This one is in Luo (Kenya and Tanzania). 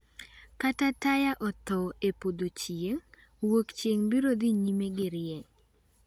"Ka taya otho e potho thieng',Wuokchieng’ biro dhi nyime gi rieny.